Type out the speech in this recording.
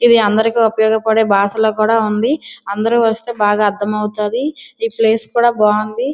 ఇది అందరికీ ఉపయోగపడే భాషలో కూడా ఉంది. అందరూ వస్తే బాగా అర్థమవుతుంది. ఈ ప్లేస్ కూడా బాగుంది.